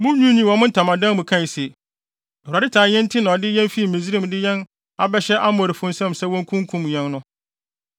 Munwiinwii wɔ mo ntamadan mu kae se, “ Awurade tan yɛn nti na ɔde yɛn fi Misraim de yɛn abɛhyɛ Amorifo nsam sɛ wonkunkum yɛn no.